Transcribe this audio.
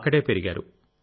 అక్కడే పెరిగారు